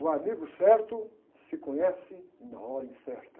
O amigo certo se conhece na hora incerta.